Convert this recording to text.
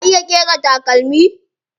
Ya iya ƙera takalmi?